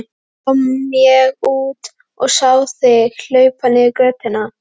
Svo kom ég út og sá þig hlaupa niður götuna.